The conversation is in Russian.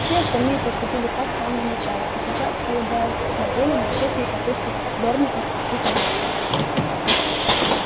все остальные поступили так с самого начала и сейчас улыбаясь смотрели на тщетные попытки дорника спуститься на пол